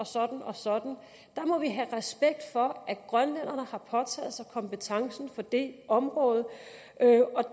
sådan og sådan der må vi have respekt for at grønlænderne har påtaget sig kompetencen på det område